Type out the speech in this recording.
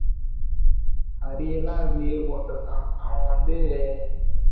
அடி எல்லாம் leave போற்றத்தான் அவன் வந்து